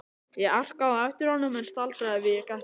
Ég arkaði á eftir honum en staldraði við í gættinni.